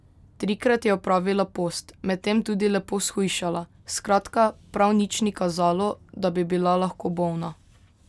Trikrat je opravila post, medtem tudi lepo shujšala, skratka, prav nič ni kazalo, da bi bila lahko bolna.